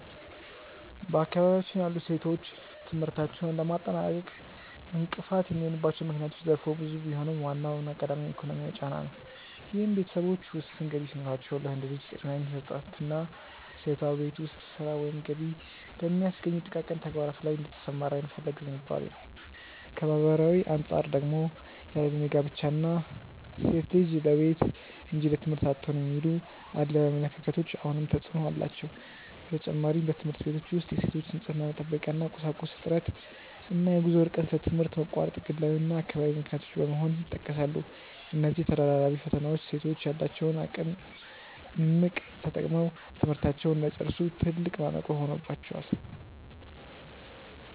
በአካባቢያችን ያሉ ሴቶች ትምህርታቸውን ለማጠናቀቅ እንቅፋት የሚሆኑባቸው ምክንያቶች ዘርፈ ብዙ ቢሆኑም፣ ዋናውና ቀዳሚው ግን ኢኮኖሚያዊ ጫና ነው፤ ይህም ቤተሰቦች ውስን ገቢ ሲኖራቸው ለወንድ ልጅ ቅድሚያ የመስጠትና ሴቷ በቤት ውስጥ ሥራ ወይም ገቢ በሚያስገኙ ጥቃቅን ተግባራት ላይ እንድትሰማራ የመፈለግ ዝንባሌ ነው። ከማኅበራዊ አንጻር ደግሞ ያለዕድሜ ጋብቻ እና "ሴት ልጅ ለቤት እንጂ ለትምህርት አትሆንም" የሚሉ አድሏዊ አመለካከቶች አሁንም ተፅዕኖ አላቸው። በተጨማሪም፣ በትምህርት ቤቶች ውስጥ የሴቶች የንፅህና መጠበቂያ ቁሳቁስ እጥረት እና የጉዞ ርቀት ለትምህርት መቋረጥ ግላዊና አካባቢያዊ ምክንያቶች በመሆን ይጠቀሳሉ። እነዚህ ተደራራቢ ፈተናዎች ሴቶች ያላቸውን እምቅ አቅም ተጠቅመው ትምህርታቸውን እንዳይጨርሱ ትልቅ ማነቆ ሆነውባቸዋል።